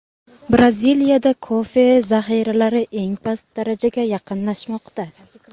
Braziliyadagi kofe zahiralari eng past darajaga yaqinlashmoqda.